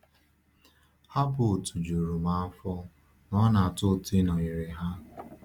um Ha bụ òtù juru um afọ, na ọ na-atọ ụtọ ịnọnyere ha.